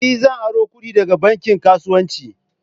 E! Zan aro kudi daga bankin kasuwanci.